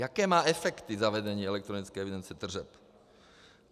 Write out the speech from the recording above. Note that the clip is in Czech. Jaké má efekty zavedení elektronické evidence tržeb?